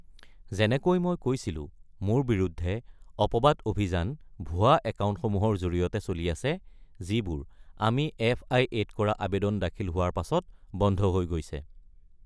যেনেকৈ মই কৈছিলোঁ, মোৰ বিৰুদ্ধে অপবাদ অভিযান ভুৱা একাউণ্টসমূহৰ জৰিয়তে চলি আছে, যিবোৰ আমি এফআইএত কৰা আবেদন দাখিল হোৱাৰ পাছত বন্ধ হৈ গৈছে।